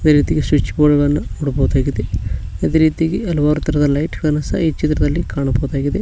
ಅದೇ ರೀತಿಯಾಗಿ switch board ಗಳನ್ನು ನೋಡಬಹುದಾಗಿದೆ ಅದೇ ರೀತಿಯಾಗಿ ಹಲವಾರು ತರಹದ ಲೈಟ್ ಗಳನ್ನು ಸಹ ಈ ಚಿತ್ರದಲ್ಲಿ ಕಾಣಬಹುದಾಗಿದೆ.